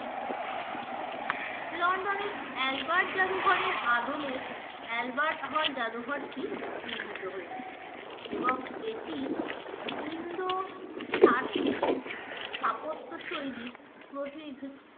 London এর albert জাদুঘরের আদলে albert hall জাদুঘরটি নির্মিত হয়েছে এবং এটি ইন্দো সার্সেনিক স্থাপত্য শৈলীর প্রতিনিধিত্ব